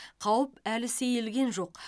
қауіп әлі сейілген жоқ